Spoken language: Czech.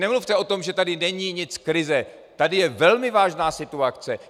Nemluvte o tom, že tady není nic, krize, tady je velmi vážná situace.